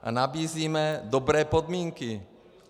A nabízíme dobré podmínky.